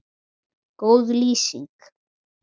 Góð lýsing?